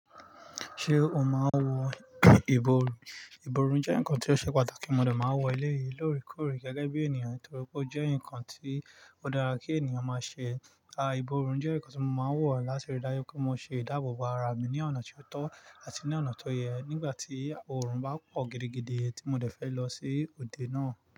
Ṣé o máa ń wo ìbòrùn? Ìbòrùn jẹ́ nǹkan tó ṣe pàtàkì, mo dà máa ń wọ̀ eleyi lóòrèkóòrè gẹ́gẹ́ bí ènìyàn, torí pé ó jẹ́ nǹkan ti o dára kí ènìyàn máa ṣe. A à ìbòrùn jẹ́ nǹkan tí mo máa ń wọ̀ láti rí dájú pé mo ṣe ìdáàbò bo ara mi ní ọ̀nà tó tọ́ àti ní ọ̀nà tó yẹ nígbà tí òrùn bá pọ̀ gidigidi tí mo dẹ̀ fẹ́ lọ sí òde náà.